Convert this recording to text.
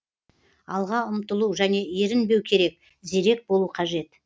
алға ұмтылу және ерінбеу керек зерек болу қажет